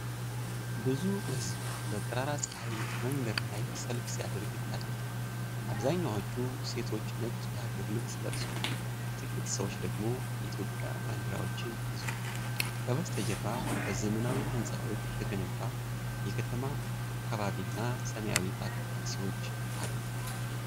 ብዙ ሕዝብ በጠራራ ፀሐይ መንገድ ላይ ሰልፍ ሲያደርግ ይታያል። አብዛኛዎቹ ሴቶች ነጭ የሀገር ልብስ ለብሰዋል፤ ጥቂት ሰዎች ደግሞ የኢትዮጵያ ባንዲራዎችን ይዘዋል። ከበስተጀርባ በዘመናዊ ሕንፃዎች የተገነባ የከተማ አካባቢና ሰማያዊ ታክሲዎች አሉ።